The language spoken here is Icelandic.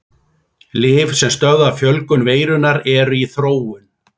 Lyf sem stöðva fjölgun veirunnar eru í þróun.